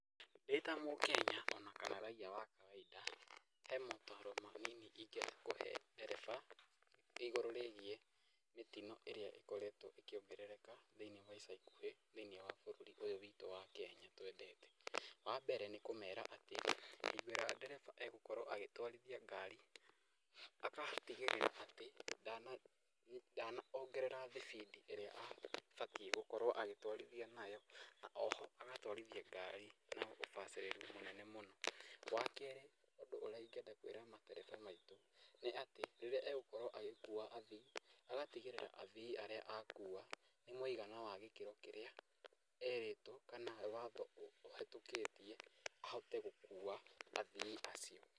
Ndĩ ta mũkenya ona kana raia wa kawaida he maũtaaro manini ingĩenda kũhe dereba igũrũ rĩgiĩ mĩtino ĩrĩa ĩkoretwo ĩkĩongerereka thĩinĩ wa ica ikuhĩ thĩinĩ wa bũrũri ũyu witũ wa Kenya twendete. Wa mbere nĩ kũmera atĩ hingo ĩrĩa dereba egũkorwo agĩtũarithia ngari, agatigĩrĩra atĩ ndanongerera speed ĩrĩa abatiĩ gũkorwo agĩtũarithia nayo. Na o ho agatũarithia ngari na ũbacĩrĩru mũnene mũno. Wa kerĩ ũndũ ũrĩa ingĩenda kwĩra matereba maitũ nĩ atĩ, rĩrĩa egũkorwo agĩkua athii, agatigĩrĩra atĩ athii arĩa akuwa nĩ mũigana wa gĩkĩro kĩrĩa erĩtwo kana watho ũhĩtũkĩtie ahote gũkua athii acio.